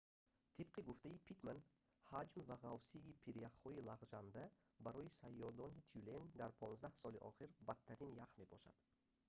тибқи гуфтаи питтман ҳаҷм ва ғафсии прияхҳои лағжанда барои саёедони тюлен дар 15 соли охир бадтарин ях мебошад